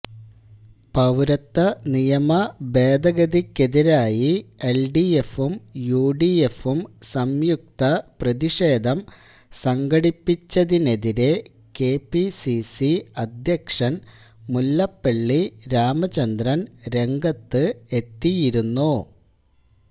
പൌരത്വ നിയമ ഭേദഗതിക്കെതിരായി എൽഡിഎഫും യുഡിഎഫും സംയുക്ത പ്രതിഷേധം സംഘടിപ്പിച്ചതിനെതിരെ കെപിസിസി അധ്യക്ഷൻ മുല്ലപ്പള്ളി രാമചന്ദ്രൻ രംഗത്ത് എത്തിയിരുന്നു